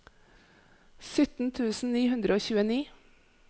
sytten tusen ni hundre og tjueni